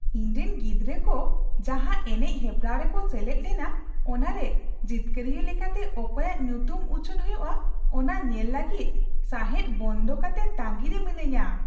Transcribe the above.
ᱤᱧ ᱨᱮᱱ ᱜᱤᱫᱽᱨᱟᱹ ᱠᱚ ᱡᱟᱦᱟᱸ ᱮᱱᱮᱡ ᱦᱮᱯᱨᱟᱣ ᱨᱮᱠᱚ ᱥᱮᱞᱮᱫ ᱞᱮᱱᱟ ᱚᱱᱟᱨᱮ ᱡᱤᱛᱠᱟᱹᱨᱤᱭᱟᱹ ᱞᱮᱠᱟᱛᱮ ᱚᱠᱚᱭᱟᱜ ᱧᱩᱛᱩᱢ ᱩᱪᱷᱟᱹᱱ ᱦᱩᱭᱩᱜᱼᱟ ᱚᱱᱟ ᱧᱮᱞ ᱞᱟᱹᱜᱤᱫ ᱥᱟᱦᱮᱫ ᱵᱚᱱᱫᱚ ᱠᱟᱛᱮ ᱛᱟᱺᱜᱤᱨᱮ ᱢᱤᱱᱟᱹᱧᱟ ᱾